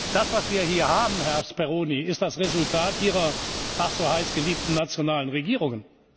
Das, was wir hier haben, Herr Speroni, ist das Resultat ihrer ach so heiß geliebten nationalen Regierungen.